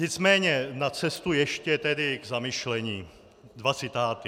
Nicméně na cestu ještě tedy k zamyšlení dva citáty.